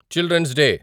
children's day